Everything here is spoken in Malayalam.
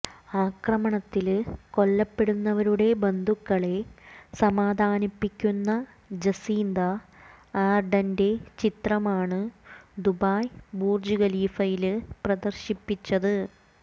ആക്രമണത്തില് കൊല്ലപ്പെട്ടവരുടെ ബന്ധുക്കളെ സമാധാനിപ്പിക്കുന്ന ജസീന്ത ആര്ഡന്റെ ചിത്രമാണ് ദുബായ് ബുര്ജ് ഖലീഫയില് പ്രദര്ശിപ്പിച്ചത്